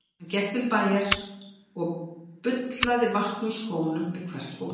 Hann gekk til bæjar og bullaði vatn úr skónum við hvert fótmál.